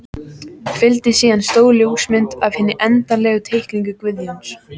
Fylgdi síðan stór ljósmynd af hinni endanlegu teikningu Guðjóns.